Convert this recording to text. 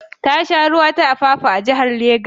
Tashar ruwa ta Apapa a jihar Lagos ta ke.